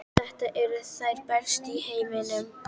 Þetta eru þær bestu í heimi!